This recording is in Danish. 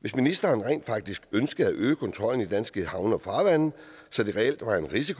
hvis ministeren rent faktisk ønskede at øge kontrollen i de danske havne og farvande så der reelt var en chance